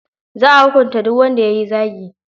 Za a hukunta duk wanda ya yi zagi.